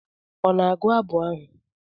Ọ na-agụ abụ ahụ?